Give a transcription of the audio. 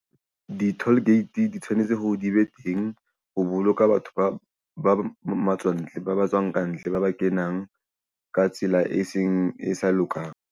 Di-toll gate di tshwanetse hore di be teng ho boloka batho ba matswantle ba tswang kantle ba kenang ka tsela e seng e sa lokang.